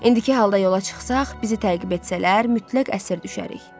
İndiki halda yola çıxsaq, bizi təqib etsələr, mütləq əsir düşərik.